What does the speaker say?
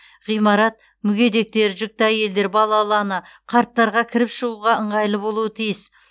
ғимарат мүгедектер жүкті әйелдер балалы ана қарттарға кіріп шығуға ыңғайлы болуы тиіс